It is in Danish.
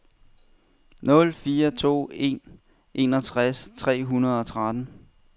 nul fire to en enogtres tre hundrede og tretten